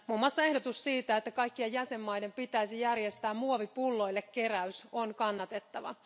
Muun muassa ehdotus siitä, että kaikkien jäsenmaiden pitäisi järjestää muovipulloille keräys, on kannatettava.